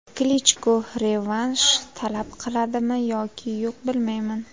Klichko revansh talab qiladimi yoki yo‘q bilmayman.